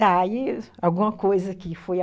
Tá, e alguma coisa que foi a